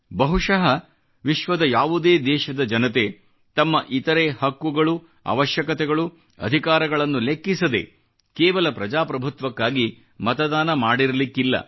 ಬಹುಶಃ ವಿಶ್ವದ ಯಾವುದೇ ದೇಶದ ಜನತೆ ತಮ್ಮ ಇತರೆ ಹಕ್ಕುಗಳು ಅವಶ್ಯಕತೆಗಳು ಅಧಿಕಾರಗಳನ್ನು ಲೆಕ್ಕಿಸದೇ ಕೇವಲ ಪ್ರಜಾಪ್ರಭುತ್ವಕ್ಕಾಗಿ ಮತದಾನ ಮಾಡಿರಲಿಕ್ಕಿಲ್ಲ